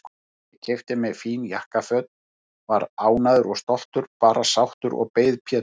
Ég keypti mér fín jakkaföt, var ánægður og stoltur, bara sáttur, og beið Péturs.